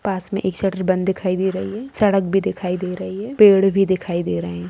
पास में एक शटर बंद दिखाई दे रही है सड़क भी दिखाई दे रही है पेड़ भी दिखाई दे रहे हैं।